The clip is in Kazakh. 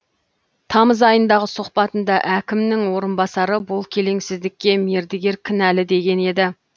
тамыз айындағы сұхбатында әкімнің орынбасары бұл келеңсіздікке мердігер кінәлі деген еді